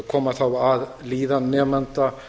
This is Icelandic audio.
koma þá að líðan nemenda